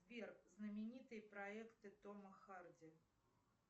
сбер знаменитые проекты тома харди